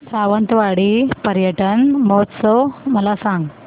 सावंतवाडी पर्यटन महोत्सव मला सांग